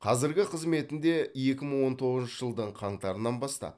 қазіргі қызметінде екі мың он тоғызыншы жылдың қаңтарынан бастап